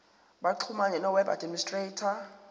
baxhumane noweb administrator